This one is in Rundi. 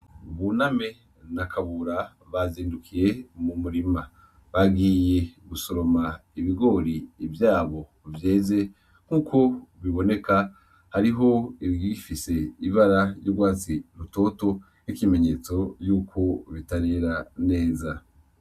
Buname na Kabura bazindukiye mu murima. Bagiye gusoroma ibigori vyabo vyeze nkuko biboneka, hariho ibigifise ibara ry'urwatsi rutoto, ikimenyetso yuko bitarera neza.